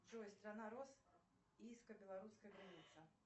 джой страна роз киевско белорусская граница